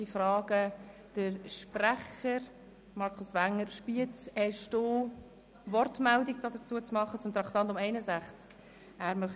Ich frage den Sprecher, Grossrat Wenger, ob er eine Wortmeldung zum Traktandum 61 abzugeben habe.